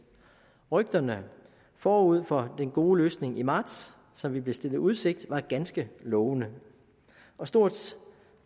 rygterne forud for den gode løsning i marts som vi blev stillet i udsigt var ganske lovende og stort